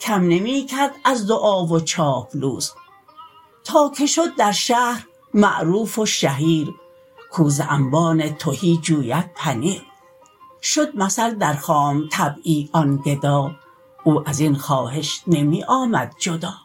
کم نمی کرد از دعا و چاپلوس تا که شد در شهر معروف و شهیر کو ز انبان تهی جوید پنیر شد مثل در خام طبعی آن گدا او ازین خواهش نمی آمد جدا